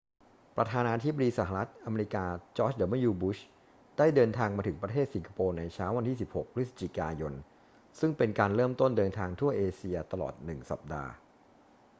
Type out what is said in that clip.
ประธานาธิบดีสหรัฐอเมริกาจอร์จ ดับเบิลยู บุช ได้เดินทางมาถึงประเทศสิงคโปร์ในเช้าวันที่ 16 พฤศจิกายน ซึ่งเป็นการเริ่มต้นเดินทางทั่วเอเชียตลอดหนึ่งสัปดาห์